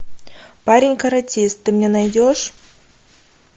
парень каратист ты мне найдешь